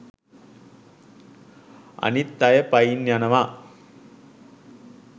අනිත් අය පයින් යනවා.